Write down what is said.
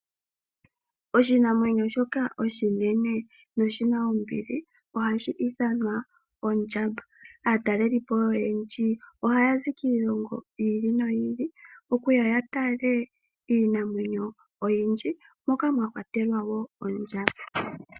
Oshinamwenyo shoka oshinene noshi na ombili ohashi ithanwa ondjamba, aatalelipo oyendji oha yazi kiilongo yi ili noyi ili okuya ya tale iinamwenyo oyindji moka mwa kwatelwa wo ondjamba.